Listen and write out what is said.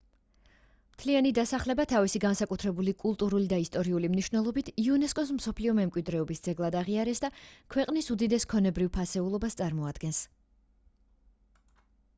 მთლიანი დასახლება თავისი განსაკუთრებული კულტურული და ისტორიული მნიშვნელობით იუნესკოს მსოფლიო მემკვიდრეობის ძეგლად აღიარეს და ქვყნის უდიდეს ქონებრივ ფასეულობას წარმოადგენს